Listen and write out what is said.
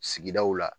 Sigidaw la